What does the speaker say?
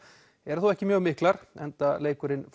eru þó ekki mjög miklar enda leikurinn